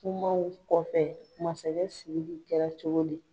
Kumaw kɔfɛ masakɛ Siriki kɛra cogo di?